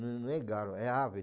Não é galo, é ave.